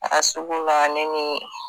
A sugu la ne ni